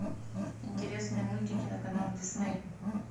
интересные мультики на канал дисней